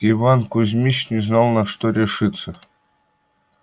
иван кузмич не знал на что решиться